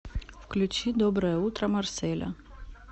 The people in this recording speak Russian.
включи доброе утро марселя